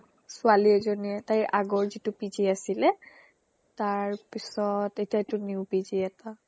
ছোৱালী এজনীয়ে তাইৰ আগৰ যিটো PG আছিলে তাৰপিছ্ত এতিয়া new PGএটা